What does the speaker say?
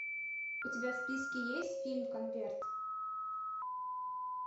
у тебя в списке есть фильм конверт